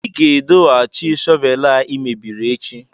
ị ga-edohachi shọvel a ị mebiri echi!